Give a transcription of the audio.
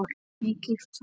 Mikið hár?